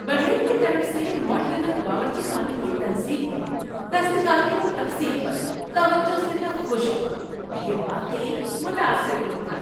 بڑھئی کی طرف سے ماڈیولر باورچی خانے کی تنصیب میں دستکاری اور تفصیل پر توجہ سے میں خوش ہوا۔ یہ واقعی متاثر کن تھا۔